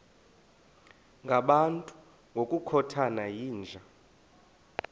ngabantu ngokukhothana yinja